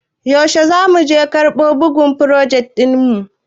Yaushe za muje karɓo bugun frojet ɗin mu?